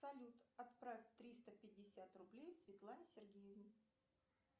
салют отправь триста пятьдесят рублей светлане сергеевне